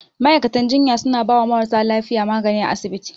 Ma'aikatan jinya suna bawa marasa lafiya magani a asibiti.